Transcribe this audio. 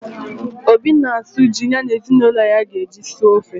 Obi na-asụ ji ya na ezinụlọ ya ga-eji suo ofe